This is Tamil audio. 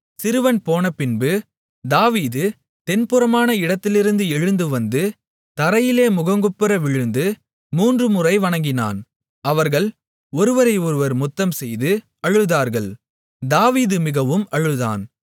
சிறுவன் போனபின்பு தாவீது தென்புறமான இடத்திலிருந்து எழுந்து வந்து தரையிலே முகங்குப்புற விழுந்து மூன்று முறை வணங்கினான் அவர்கள் ஒருவரை ஒருவர் முத்தம்செய்து அழுதார்கள் தாவீது மிகவும் அழுதான்